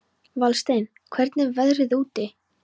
Valsteinn, hvernig er veðrið úti?